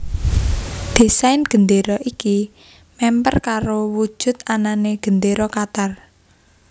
Désain gendéra iki memper karo wujud anané Gendéra Qatar